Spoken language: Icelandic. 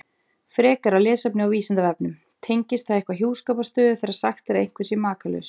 Frekara lesefni á Vísindavefnum: Tengist það eitthvað hjúskaparstöðu þegar sagt er að einhver sé makalaus?